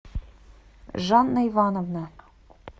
жанна ивановна